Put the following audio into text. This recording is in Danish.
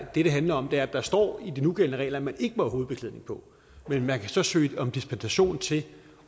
det handler om er at der står i de nugældende regler at man ikke må have hovedbeklædning på men man kan så søge om dispensation til